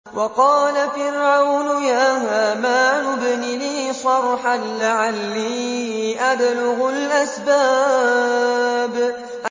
وَقَالَ فِرْعَوْنُ يَا هَامَانُ ابْنِ لِي صَرْحًا لَّعَلِّي أَبْلُغُ الْأَسْبَابَ